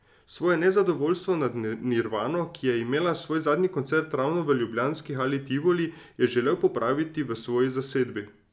Svoje nezadovojstvo nad Nirvano, ki je imela svoj zadnji koncert ravno v ljubljanski Hali Tivoli, je želel popraviti v svoji zasedbi.